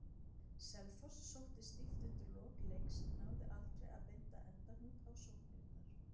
Selfoss sótti stíft undir lok leiks en náði aldrei að binda endahnút á sóknirnar.